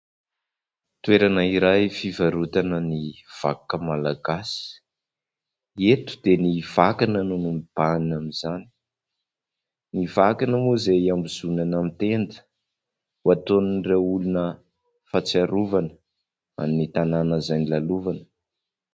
Toerana iray fivarotana ny vakoka malagasy. Eto dia ny vakana no mibahana amin'izany. Ny vakana moa izay iambozonana amin'ny tenda ho ataon'ireo olona fahatsiarovana an'ny tanàna izay nolalovana.